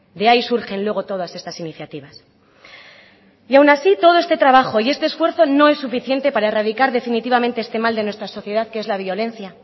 de ahí surgen luego todas estas iniciativas y aún así todo este trabajo y este esfuerzo no es suficiente para erradicar definitivamente este mal de nuestra sociedad que es la violencia